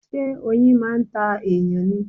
Ṣé oyin máa ń ta èyàn ni?